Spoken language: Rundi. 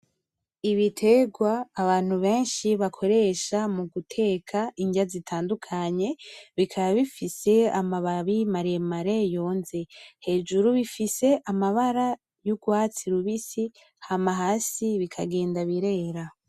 Ibiterwa abantu benshi bakoresha mu guteka inrya zitandukanye, bikaba bifise amababi maremare yonze, hejuru bifise amabara y'urwatsi rubisi hama hasi bikagenda birera.